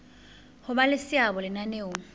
ho ba le seabo lenaneong